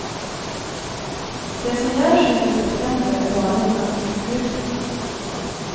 Det som görs inför september är bara en ansiktslyftning.